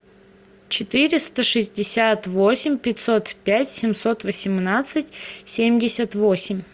четыреста шестьдесят восемь пятьсот пять семьсот восемнадцать семьдесят восемь